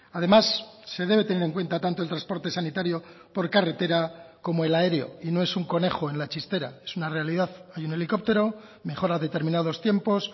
además se debe tener en cuenta tanto el transporte sanitario por carretera como el aéreo y no es un conejo en la chistera es una realidad hay un helicóptero mejora determinados tiempos